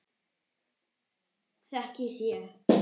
Þekkið þér